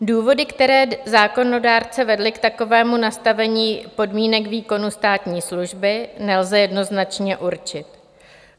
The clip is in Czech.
Důvody, které zákonodárce vedly k takovému nastavení podmínek výkonu státní služby, nelze jednoznačně určit.